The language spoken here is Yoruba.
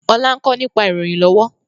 Ọlá ń kọ́ nípa ìròyìn lọ́wọ́